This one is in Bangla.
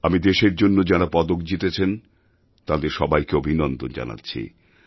আমি দেশের জন্য যাঁরা পদক জিতেছেন তাঁদের সবাইকে অভিনন্দন জানাচ্ছি